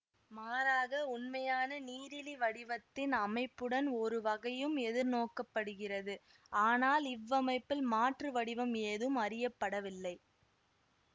மாறாக உண்மையான நீரிலி வடிவத்தின் அமைப்புடன் ஒருவகையும் எதிர்நோக்கப்படுகிறது ஆனால் இவ்வமைப்பில் மாற்று வடிவம் ஏதும் அறியப்படவில்லை